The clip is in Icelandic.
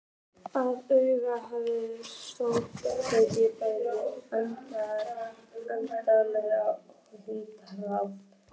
Að auki hafa sjóðirnir tekið bæði erlend og innlend lán.